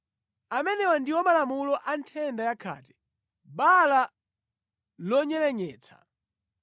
Amenewa ndiwo malamulo a nthenda ya khate, bala lonyerenyetsa,